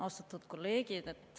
Austatud kolleegid!